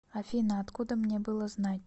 афина откуда мне было знать